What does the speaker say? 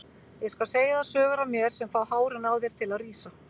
Ég skal segja þér sögur af mér sem fá hárin á þér til að rísa.